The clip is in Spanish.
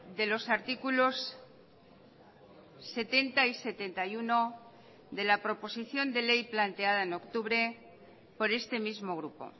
de los artículos setenta y setenta y uno de la proposición de ley planteada en octubre por este mismo grupo